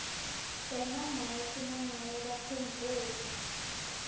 emamaki nangabe baphendvule